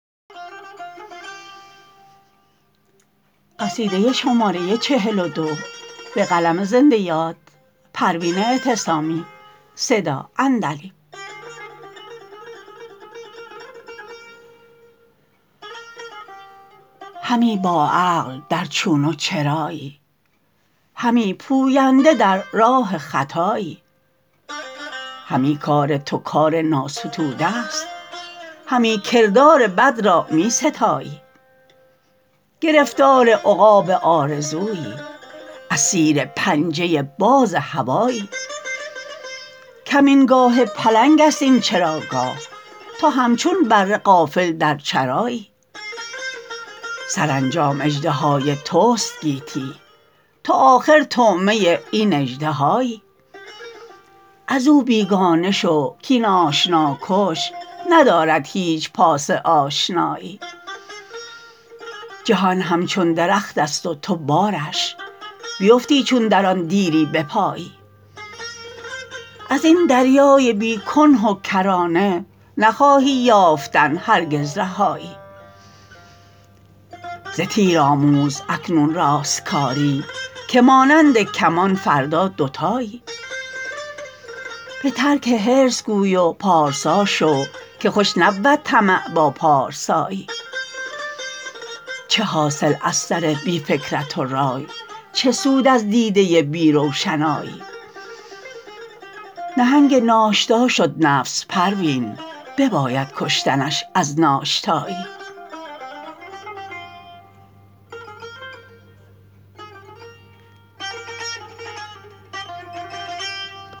همی با عقل در چون و چرایی همی پوینده در راه خطایی همی کار تو کار ناستوده است همی کردار بد را میستایی گرفتار عقاب آرزویی اسیر پنجه باز هوایی کمین گاه پلنگ است این چراگاه تو همچون بره غافل در چرایی سرانجام اژدهای تست گیتی تو آخر طعمه این اژدهایی ازو بیگانه شو کاین آشنا کش ندارد هیچ پاس آشنایی جهان همچون درختست و تو بارش بیفتی چون در آن دیری بپایی ازین دریای بی کنه و کرانه نخواهی یافتن هرگز رهایی ز تیر آموز اکنون راستکاری که مانند کمان فردا دوتایی بترک حرص گوی و پارسا شو که خوش نبود طمع با پارسایی چه حاصل از سر بی فکرت و رای چه سود از دیده بی روشنایی نهنگ ناشتا شد نفس پروین بباید کشتنش از ناشتایی